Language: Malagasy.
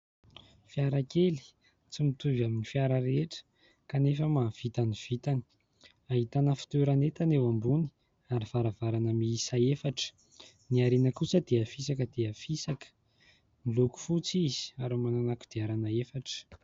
Fiara kely tsy mitovy amin'ny fiara rehetra kanefa mahavita ny vitany. Ahitana fitoeran'entana eo ambony ary varavarana miisa efatra. Ny ariana kosa dia fisaka dia fisaka. Miloko fotsy izy ary manana kodiarana efatra.